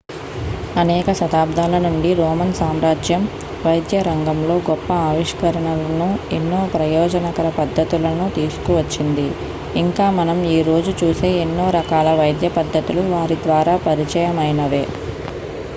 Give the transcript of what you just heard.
అనేక శతాబ్దాల నుండి రోమన్ సామ్రాజ్యం వైద్యరంగంలో గొప్ప ఆవిష్కరణలను ఎన్నో ప్రయోజనకర పద్దతులను తీసుకువచ్చింది ఇంకా మనం ఈ రోజు చూసే ఎన్నో రకాల వైద్యపద్ధతులు వారి ద్వారా పరిచయమైనవే